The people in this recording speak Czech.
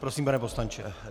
Prosím, pane poslanče.